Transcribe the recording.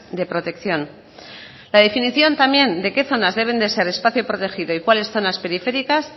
de protección la definición también de qué zonas deben de ser espacio protegido y cuales zonas periféricas